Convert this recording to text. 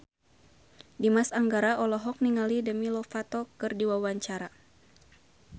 Dimas Anggara olohok ningali Demi Lovato keur diwawancara